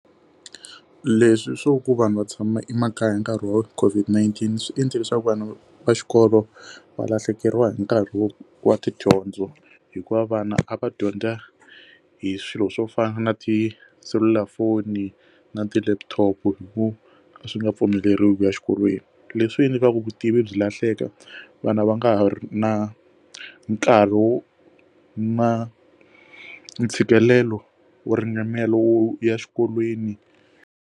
Leswi swo ku vanhu va tshama emakaya hi nkarhi wa COVID-19 swi endle leswaku vanhu va xikolo va lahlekeriwa hi nkarhi wo wa tidyondzo hikuva vana a va dyondza hi swilo swo fana na tiselulafoni na ti laptop vo a swi nga pfumeleriwa exikolweni leswi hi nyikaka vutivi byi lahleka vana va nga ha ri na nkarhi wo na ntshikelelo wo ringanela wo ya exikolweni.